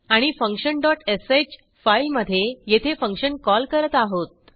आणि function dot sh फाईलमधे येथे फंक्शन कॉल करत आहोत